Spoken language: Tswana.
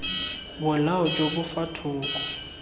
bolao jo bo fa thoko